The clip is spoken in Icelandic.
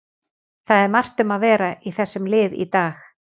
Það er margt um að vera í þessum lið í dag.